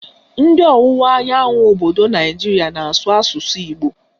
Ndị ọwụwa anyanwụ obodo Naijiria na-asụ asụsụ Igbo